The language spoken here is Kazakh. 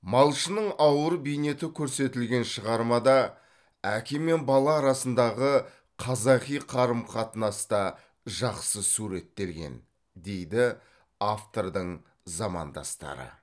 малшының ауыр бейнеті көрсетілген шығармада әке мен бала арасындағы қазақи қарым қатынас та жақсы суреттелген дейді автордың замандастары